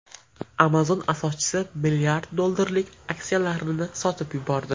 Amazon asoschisi mlrd dollarlik aksiyalarini sotib yubordi.